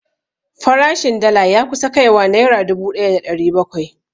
Farashin dala ya kusa kai wa naira dubu ɗaya da ɗari bakwai